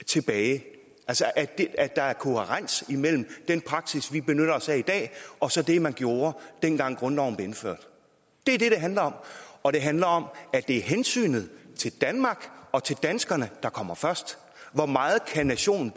tilbage så der er kohærens imellem den praksis vi benytter os af i dag og så det man gjorde dengang grundloven blev vedtaget det er det det handler om og det handler om at det er hensynet til danmark og til danskerne der kommer først hvor meget nationen